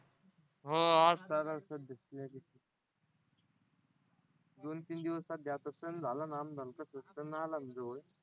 हां दोन तीन दिवसात त्याचा सण झाला ना नंतरचा सण आला ना जवळ